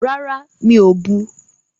Rárá, mi ò bu.